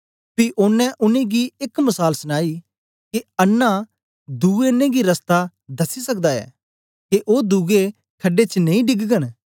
पी ओनें उनेंगी एक मसाल सनाई के अन्नां दुए अन्नें गी रस्ता दसी सकदा ऐ के ओ दुए खड़े च नेई डीगगन